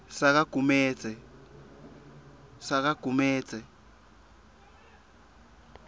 sakagumedze